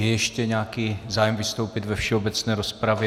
Je ještě nějaký zájem vystoupit ve všeobecné rozpravě?